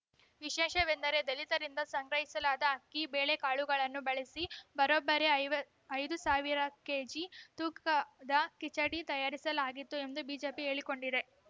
ವಿಶೇಷವೆಂದರ ದಲಿತರಿಂದ ಸಂಗ್ರಹಿಸಲಾದ ಅಕ್ಕಿ ಬೇಳೆಕಾಳುಗಳನ್ನು ಬಳಸಿ ಬರೋಬ್ಬರಿ ಐವ ಐದು ಸಾವಿರ ಕೆಜಿ ತೂಕದ ಕಿಚಡಿ ತಯಾರಿಸಲಾಗಿತ್ತು ಎಂದು ಬಿಜೆಪಿ ಹೇಳಿಕೊಂಡಿದೆ